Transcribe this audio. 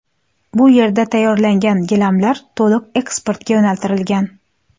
Bu yerda tayyorlangan gilamlar to‘liq eksportga yo‘naltirilgan.